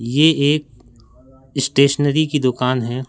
ये एक स्टेशनरी कि दुकान है।